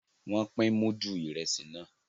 Wón pin mudu Ìrẹsí náà